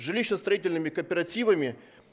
жилищно-строительными кооперативами